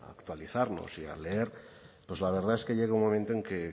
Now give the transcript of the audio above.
a actualizarnos y a leer pues la verdad es que llega un momento en que